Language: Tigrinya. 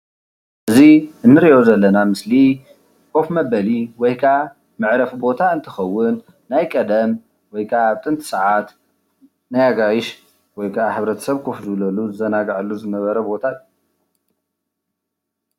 እዚ ንርኦ ዘለና ምስሊ ኮፍ መበሊ ወይካዓ መዕረፊ ቦታ እንትከውን ናይ ቀደም ወይካዓ ኣብ ጥንቲ ሰዓት ናይ ኣጋይሽ ወይከዓ ሕብረተሰብ ኮፍ ዝብለሉ ዝዘናግዓሉ ዝነበረ ቦታ።